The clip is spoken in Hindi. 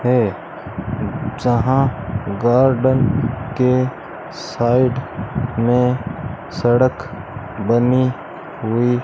है जहां गार्डन के साइड मे सड़क बनी हुई --